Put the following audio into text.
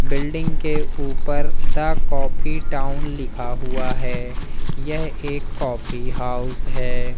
Building के ऊपर the coffee town लिखा हुआ है यह एक कॉफी हाउस है।